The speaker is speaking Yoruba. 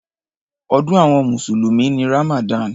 Ọdún àwọn mùsùlùmí ni Ramadan.